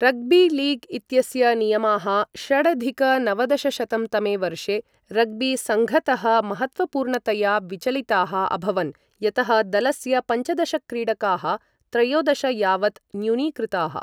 Rugby league इत्यस्य नियमाः षडधिक नवदशशतं तमे वर्षे रग्बीसङ्घतः महत्त्वपूर्णतया विचलिताः अभवन्, यतः दलस्य पञ्चदश क्रीडकाः त्रयोदश यावत् न्यूनीकृताः।